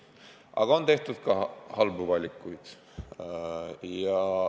Aga on tehtud ka halbu valikuid.